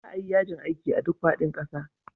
Za a yi yajin aiki a duk faɗin ƙasa.